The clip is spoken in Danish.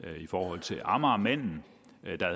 i forhold til amagermanden